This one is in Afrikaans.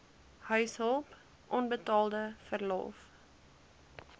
huishulp onbetaalde verlof